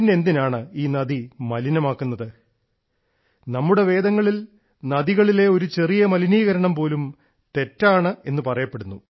പിന്നെ എന്തിനാണ് ഈ നദി മലിനമാക്കുന്നത് നമ്മുടെ വേദങ്ങളിൽ നദികളിലെ ഒരു ചെറിയ മലിനീകരണം പോലും തെറ്റാണെന്ന് പറയപ്പെടുന്നു